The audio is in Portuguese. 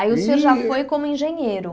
Aí o senhor já foi como engenheiro.